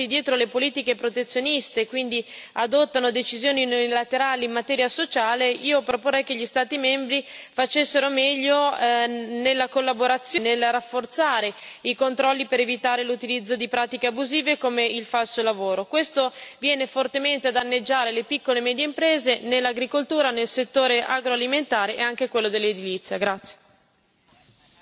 Piuttosto che nascondersi dietro le politiche protezioniste, quindi adottando decisioni unilaterali in materia sociale, io proporrei che gli Stati membri si adoperassero di più nella collaborazione, nel rafforzare i controlli per evitare l'utilizzo di pratiche abusive, come il falso lavoro, che viene fortemente a danneggiare le piccole e medie imprese nell'agricoltura, nel settore agroalimentare e anche in quello dell'edilizia.